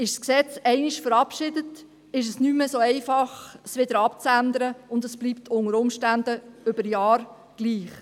Ist das Gesetz einmal verabschiedet, ist es nicht mehr so einfach, es wieder abzuändern, und es bleibt unter Umständen über Jahre hinweg gleich.